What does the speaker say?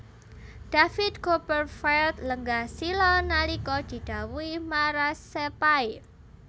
David Copperfield lenggah sila nalika didhawuhi marasepahe